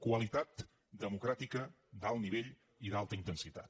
qualitat democràtica d’alt nivell i d’alta intensitat